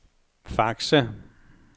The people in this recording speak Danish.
Fakse